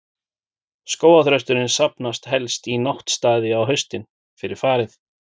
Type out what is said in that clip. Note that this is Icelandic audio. Skógarþrösturinn safnast helst í náttstaði á haustin, fyrir farið.